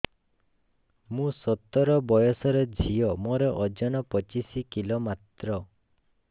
ମୁଁ ସତର ବୟସର ଝିଅ ମୋର ଓଜନ ପଚିଶି କିଲୋ ମାତ୍ର